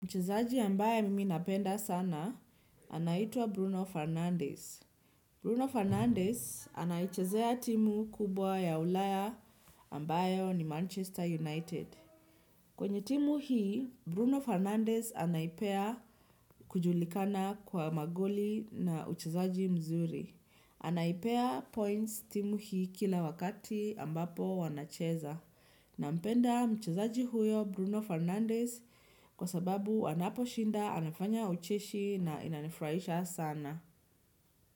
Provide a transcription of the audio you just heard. Mchezaji ambaye mimi napenda sana, anaitwa Bruno Fernandes. Bruno Fernandes anayechazea timu kubwa ya ulaya ambayo ni Manchester United. Kwenye timu hii, Bruno Fernandes anaipea kujulikana kwa magoli na uchezaji mzuri. Anaipea points timu hii kila wakati ambapo wanacheza. Na mpenda mchezaji huyo Bruno Fernandez kwa sababu anapo shinda anafanya ucheshi na inanifuraisha sana.